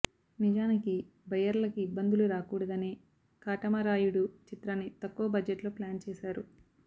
నిజానికి బయ్యర్లకి ఇబ్బందులు రాకూడదనే కాటమరాయుడు చిత్రాన్ని తక్కువ బడ్జెట్లో ప్లాన్ చేసారు